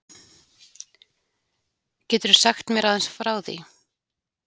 Geturðu sagt mér aðeins frá því?